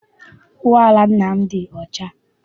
Ụgbọala nna m dị ọcha.